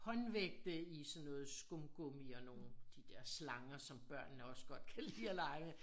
Håndvægte i sådan noget skumgummi og nogen de dér slanger som børnene også godt kan lide at lege med